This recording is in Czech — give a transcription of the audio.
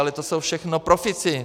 Ale to jsou všechno profíci.